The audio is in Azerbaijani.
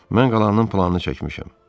Mən qalanın planını çəkmişəm.